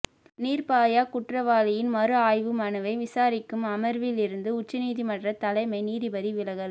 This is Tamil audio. நிா்பயா குற்றவாளியின் மறு ஆய்வு மனுவை விசாரிக்கும் அமா்விலிருந்து உச்சநீதிமன்றத் தலைமை நீதிபதி விலகல்